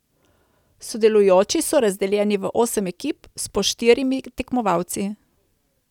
Sodelujoči so razdeljeni v osem ekip s po štirimi tekmovalci.